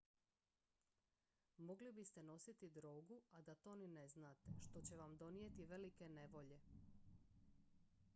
mogli biste nositi drogu a da to ni ne znate što će vam donijeti velike nevolje